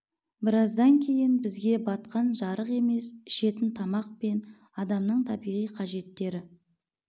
біраздан кейін бізге батқан жарық емес ішетін тамақ пен адамның табиғи қажеттері